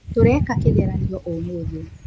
Tũreka kĩgeranio ũmũthĩ .